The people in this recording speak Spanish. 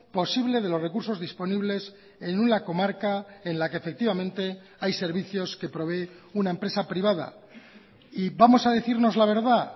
posible de los recursos disponibles en una comarca en la que efectivamente hay servicios que provee una empresa privada y vamos a decirnos la verdad